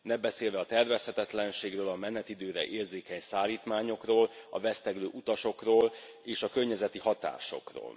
Nem beszélve a tervezhetetlenségről, a menetidőre érzékeny szállítmányokról, a veszteglő utasokról és a környezeti hatásokról.